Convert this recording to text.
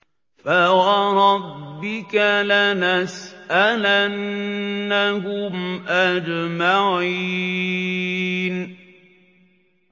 فَوَرَبِّكَ لَنَسْأَلَنَّهُمْ أَجْمَعِينَ